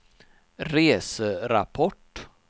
reserapport